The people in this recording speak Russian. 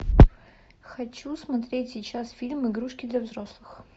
хочу смотреть сейчас фильм игрушки для взрослых